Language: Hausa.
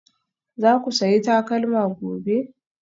Za ku sayi takalma gobe?